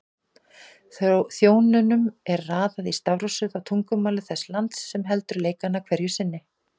Þjóðunum er raðað í stafrófsröð á tungumáli þess lands sem heldur leikana hverju sinni.